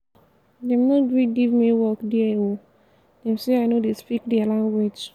dem no gree give me work there o dem sey i no dey speak there language.